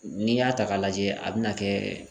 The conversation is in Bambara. N'i y'a ta k'a lajɛ a bɛna kɛ.